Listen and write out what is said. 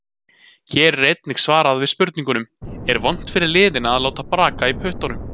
Hér er einnig svar við spurningunum: Er vont fyrir liðina að láta braka í puttunum?